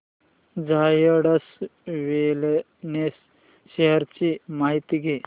Zydus wellness shares ची माहिती द्या